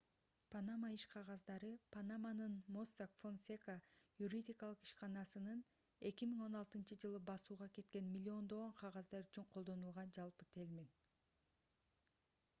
панама иш кагаздары - панаманын mossack fonseca юридикалык ишканасынын 2016-ж басууга кеткен миллиондогон кагаздар үчүн колдонулган жалпы термин